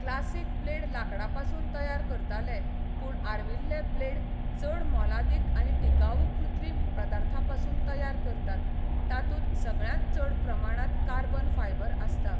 Classic blade लांकडापसून तयार करताले, पूण आर्विल्ले ब्लेड चड मोलादीक आनी टिकाऊ कृत्रीम पदार्थापसून तयार करतात, तातूंत सगळ्यांत चड प्रमाणांत कार्बन फायबर आसता.